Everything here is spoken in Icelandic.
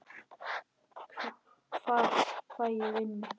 Hvar fæ ég vinnu?